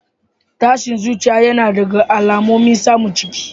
Tashin zuciya yana daga alamomin samun ciki.